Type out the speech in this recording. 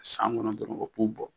San kɔnɔn dɔrɔn